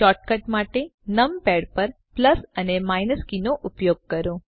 shortcut માટે numpad પર plus અને માઈનસ કીઓનો ઉપયોગ કરો